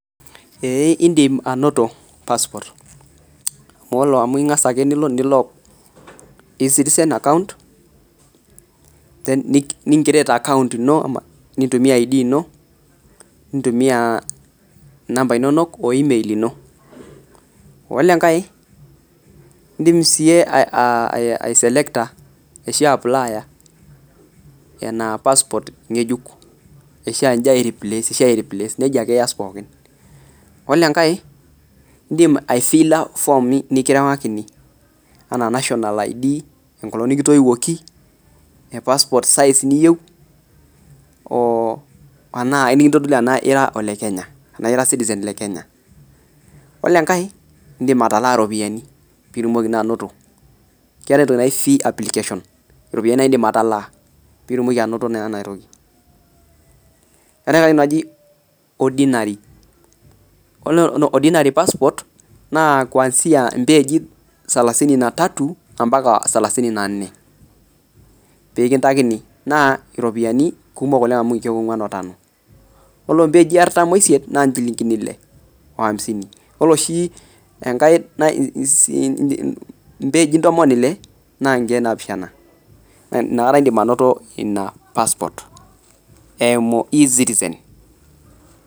Ee indim ainoto passport qmu ingasa ake nilo e citizen account nintumia id ino nimtumia namba inonok oimel ino ore enkae indim aiapplier, ashu ai replace nejia ake esia pokki ore enkae indim aifila form nikiriwakini anaa enkolong nikitoiwuoki passport size niyieu oo enkitadoli anaa ira olenya ore engae na ilak iropiyiani pitum keetae entoki naji fee application ropiyani nindim atalaa pitumoki ainoto enatoki eete entoki naji ordinary passport na kuanzia mpeji salasini natatu ambaka slalasini na tano na kegol au mkiek uni otano yioko yiolo oshi enkae mpeji ntomon ile na nkiek napishana nakata indim ainoto ina passport eimu e citizen